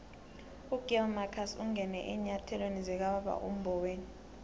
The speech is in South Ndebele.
ugill marcus ungene eenyathelweni zikababa umboweni